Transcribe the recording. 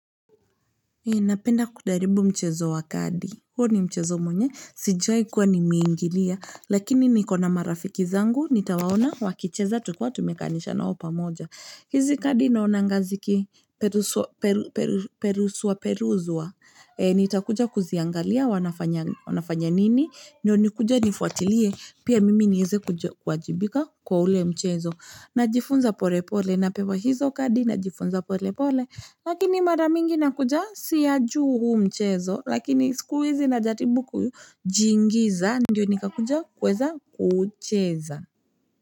Napenda kudaribu mchezo wa kadi, huo ni mchezo mwenye, sijaikuwa ni meingilia, lakini nikona marafiki zangu, nitawaona, wakicheza tu kiwa tumekaanisha na opa moja. Hizi kadi naonangaziki perusuwa peruzwa Nitakuja kuziangalia wanafanya nini Ndio nikuje nifuatilie pia mimi nieze kuajibika kwa ule mchezo Najifunza pole pole na pewa hizo kadi najifunza pole pole Lakini maramingi nakuja siyaju huu mchezo Lakini sikuizi na jaribu kujiingiza Ndio nikakuja kuweza kucheza.